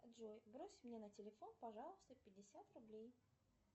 джой брось мне на телефон пожалуйста пятьдесят рублей